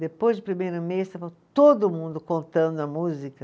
Depois do primeiro mês, estava todo mundo contando a música.